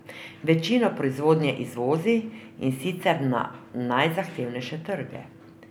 Večino proizvodnje izvozi, in sicer na najzahtevnejše trge.